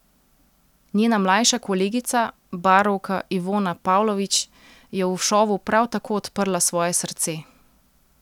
Njena mlajša kolegica, barovka Ivona Pavlović, je v šovu prav tako odprla svoje srce.